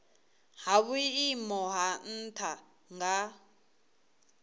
ha vhuimo ha nha nga